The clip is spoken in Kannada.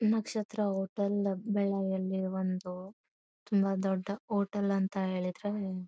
ನಕ್ಷತ್ರ ಹೋಟೆಲ್ ಬಳ್ಳಾರಿಯಲ್ಲಿ ಇರುವಂತವು ತುಂಬಾ ದೊಡ್ಡ ಹೋಟೆಲ್ ಅಂತ ಹೇಳಿದ್ರೆ--